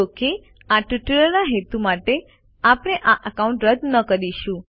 જો કે આ ટ્યુટોરીયલના હેતુ માટે આપણે આ એકાઉન્ટ રદ ન કરીશું